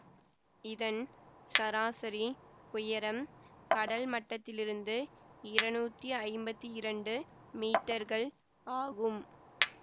இதன் சராசரி உயரம் கடல்மட்டத்திலிருந்து இருநூத்தி ஐம்பத்தி இரண்டு மீட்டர்கள் ஆகும்